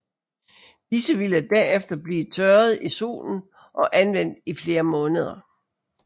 Disse ville derefter blive tørret i solen og anvendt i flere måneder